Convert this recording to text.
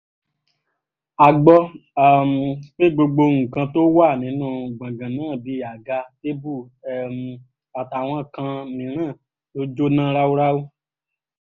a gbọ́ um pé gbogbo nǹkan tó wà nínú gbọ̀ngàn náà bíi àga tèbú um àtàwọn kan mìíràn ló jóná ráúráú